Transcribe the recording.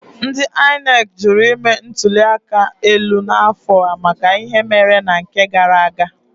Ndị INEC jụrụ ime ntuli aka elu n'afọ a maka ihe mere na nke gara aga.